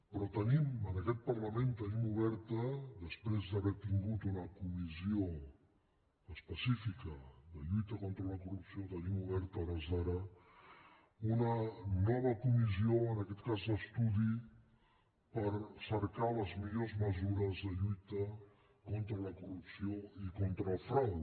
però tenim en aquest parlament tenim oberta després d’haver tingut una comissió específica de lluita contra la corrupció tenim oberta a hores d’ara una nova comissió en aquest cas d’estudi per cercar les millors mesures de lluita contra la corrupció i contra el frau